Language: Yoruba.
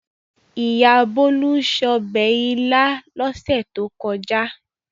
Ìyá Bólú se ọbẹ̀ ilá lọ́sẹ̀ tó kọjá.